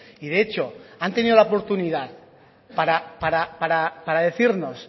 y de hecho han tenido la oportunidad para decirnos